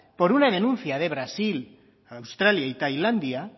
por una denuncia de brasil a australia y tailandia